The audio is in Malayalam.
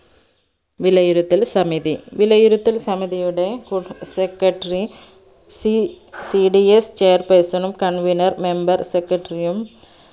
വിലയിരുത്തൽ സമിതി വിലയിരുത്തൽ സമിതിയുടെ secretary C CDS Chair person ണും convener member secretary യും